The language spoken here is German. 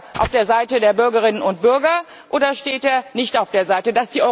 Steht er auf der Seite der Bürgerinnen und Bürger, oder steht er nicht auf deren Seite?